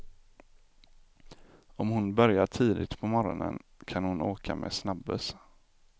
Om hon börjar tidigt på morgonen, kan hon åka med snabbuss.